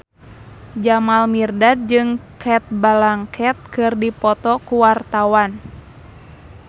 Jamal Mirdad jeung Cate Blanchett keur dipoto ku wartawan